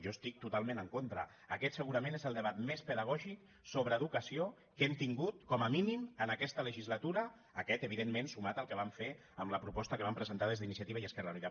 jo hi estic totalment en contra aquest segurament és el debat més pedagògic sobre educació que hem tingut com a mínim en aquesta legislatura aquest evidentment sumat al que vam fer amb la proposta que vam presentar des d’iniciativa i esquerra unida